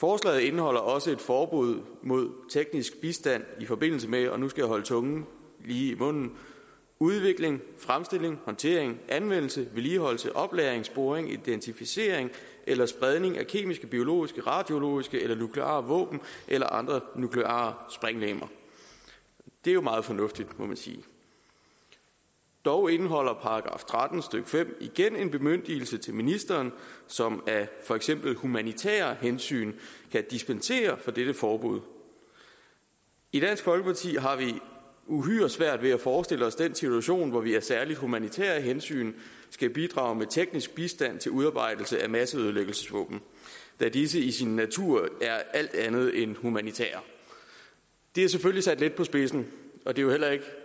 forslaget indeholder også et forbud mod teknisk bistand i forbindelse med og nu skal jeg holde tungen lige i munden udvikling fremstilling håndtering anvendelse vedligeholdelse oplagring sporing identificering eller spredning af kemiske biologiske radiologiske eller nukleare våben eller andre nukleare sprænglegemer det er jo meget fornuftigt må man sige dog indeholder § tretten stykke fem igen en bemyndigelse til ministeren som af for eksempel humanitære hensyn kan dispensere fra dette forbud i dansk folkeparti har vi uhyre svært ved at forestille os den situation hvor vi af særlige humanitære hensyn skal bidrage med teknisk bistand til udarbejdelse af masseødelæggelsesvåben da disse i sin natur er alt andet end humanitære det er selvfølgelig sat lidt på spidsen og det er jo heller ikke